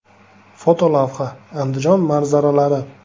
Fotolavha: Andijon manzaralari.